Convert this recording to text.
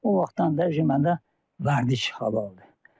O vaxtdan da mən də vərdiş halı oldu.